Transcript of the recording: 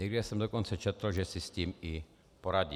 Někde jsem dokonce četl, že si s tím i poradí.